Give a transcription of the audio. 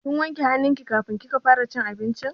Kin wanke hannu ki kafin kika fara cin abinci?